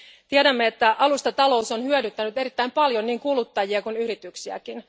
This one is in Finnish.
Tiedämme, että alustatalous on hyödyttänyt erittäin paljon niin kuluttajia kuin yrityksiäkin.